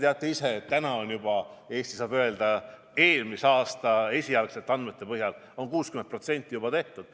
Härra Sõerd, te teate ise ka, et Eesti saab öelda, lähtudes eelmise aasta esialgsetest andmetest, et 60% on juba tehtud.